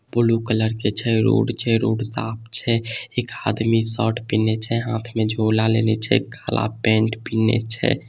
Blue colour के छै road छै रोड साफ छै एक आदमी सट पहिनने छै हाथ में झोला लेने छै काला पेंट पीहनने छै ।